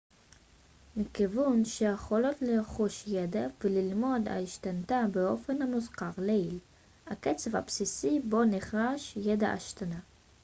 מכיוון שהיכולות לרכוש ידע וללמוד השתנתה באופן המוזכר לעיל הקצב הבסיסי בו נרכש ידע השתנה